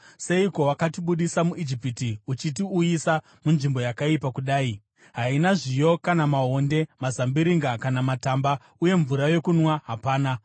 Seiko wakatibudisa muIjipiti uchitiuyisa munzvimbo yakaipa kudai? Haina zviyo kana maonde, mazambiringa kana matamba. Uye mvura yokunwa hapana!”